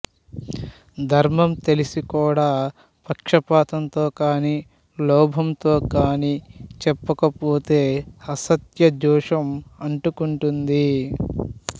ధర్మం తెలిసి కూడా పక్షపాతంతో కాని లోభంతో కాని చెప్పక పోతే అసత్య దోషం అంటుకుంటుంది